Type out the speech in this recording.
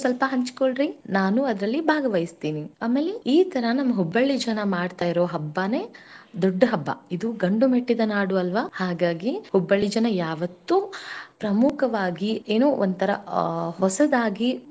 ನನ್ಜೊತೆನು ಸ್ವಲ್ಪ ಹಂಚಿಕೊಳ್ಳಿರಿ ನಾನು ಅದಲ್ಲಿ ಭಾಗವಹಿಸುತ್ತೇನೆ ಆಮೇಲೆ ಈ ತರ ನಮ್ Hubballi ಜನ ಮಾಡ್ತಾ ಇರೋ ಹಬ್ಬನೇ ದೊಡ್ಡ ಹಬ್ಬ ಇದು ಗಂಡುಮೆಟ್ಟಿದ ನಾಡು ಅಲ್ವ ಹಾಗಾಗಿ Hubballi ಜನಾ ಯಾವತ್ತೂ ಪ್ರಮುಖವಾಗಿ ಏನೋ ಒಂತರ ಹೊಸದಾಗಿ.